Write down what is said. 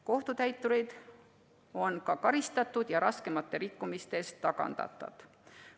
Kohtutäitureid on ka karistatud ja raskemate rikkumiste eest tagandatud.